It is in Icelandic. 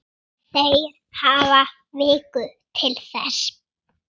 Þeir hafi viku til þess.